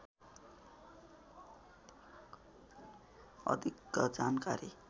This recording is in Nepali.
अधिक जानकारी